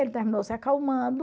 Ele terminou se acalmando.